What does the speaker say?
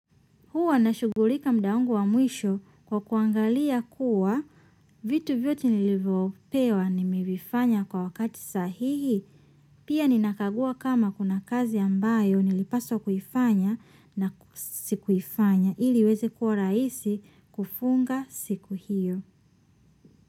Huwa nashughulika muda wangu wa mwisho kwa kuangalia kuwa vitu vyote nilivyopewa nimevifanya kwa wakati sahihi, pia ninakagua kama kuna kazi ambayo nilipaswa kufanya na sikuifanya ili iweze kuwa rahisi kufunga siku hiyo.